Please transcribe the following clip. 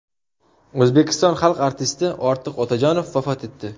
O‘zbekiston xalq artisti Ortiq Otajonov vafot etdi.